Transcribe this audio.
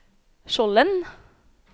Skjolden